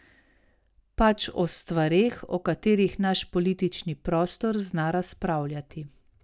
Pač o stvareh, o katerih naš politični prostor zna razpravljati.